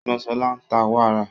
Ègbón Sola ń ta wàrà